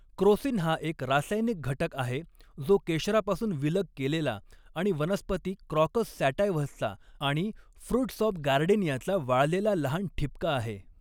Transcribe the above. Crocin हा एक रासायनिक घटक आहे जो केशरापासून विलग केलेला आणि वनस्पती क्रॉकस सॅटायव्हसचा आणि फृट्स ऑफ गार्डेनियाचा वाळलेला लहान ठिपका आहे.